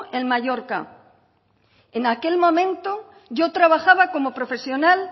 en mallorca en aquel momento yo trabajaba como profesional